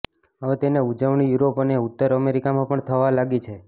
હવે તેની ઉજવણી યુરોપ અને ઉત્તર અમેરિકામાં પણ થવા લાગી છે